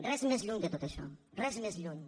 res més lluny de tot això res més lluny